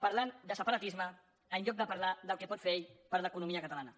parlant de separatisme en lloc de parlar del que pot fer ell per l’economia catalana